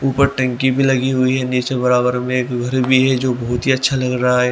ऊपर टंकी भी लगी हुई है नीचे बराबर में एक घर भी है जो बहोत ही अच्छा लग रहा है।